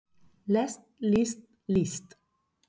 lest list líst